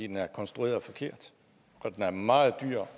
den er konstrueret forkert og den er meget dyr